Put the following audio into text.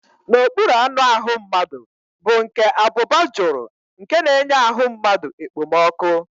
N'okpuru anụahụ mmadụ bụ nke abụba jụrụ nke na-enye ahụ mmadụ ekpomọkụ́